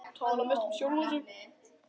Tala mest um sjálfan sig.